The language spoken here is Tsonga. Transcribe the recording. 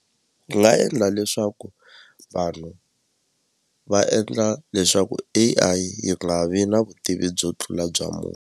Ni nga endla leswaku vanhu va endla leswaku A_I yi nga vi na vutivi byo tlula bya munhu.